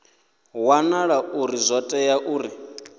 wanala uri zwo tea uri